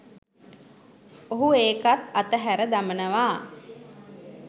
ඔහු ඒකත් ඇත හැර දමනවා.